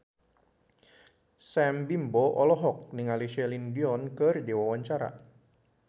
Sam Bimbo olohok ningali Celine Dion keur diwawancara